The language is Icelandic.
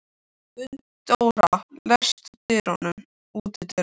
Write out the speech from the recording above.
Gunndóra, læstu útidyrunum.